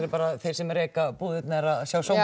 þeir sem reka búðirnar að sjá sóma